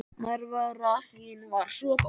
Nærvera þín var svo góð.